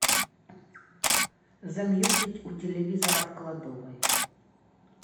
замьютить у телевизора в кладовой